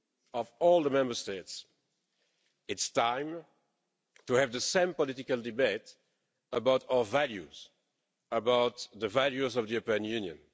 of all the Member States. It's time to have the same political debate about our values, about the values of the European Union.